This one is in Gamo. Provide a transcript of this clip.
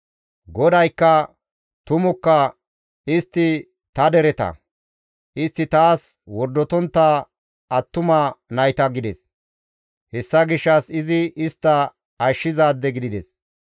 GODAYKKA, «Tumukka; istti ta dereta; istti taas wordotontta attuma nayta» gides. Hessa gishshas izi istta Ashshizaade gidides.